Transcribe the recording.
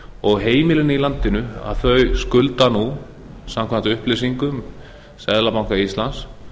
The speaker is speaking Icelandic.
og heimilin í landinu skulda nú samkvæmt upplýsingum seðlabanka íslands